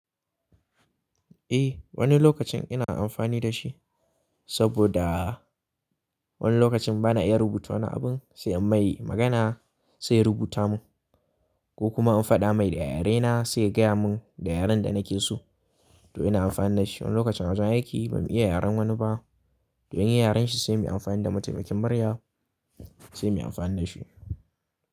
Eh wani lokacin ina amfani da shi saboda wani lokacin bana iya rubuta wani abin sai in mai magana sai ya rubuta mun ko kuma in faɗa mai da yarena sai ya gaya mun da yaren da nake so to ina amfani da shi. Wani lokacin a wajen aiki bamu iya yaren wani ba don yin yaren shi sai muyi amfani da mataimakin murya sai muyi amfani da shi.